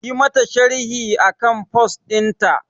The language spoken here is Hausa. Yi mata sharhi akan post ɗinta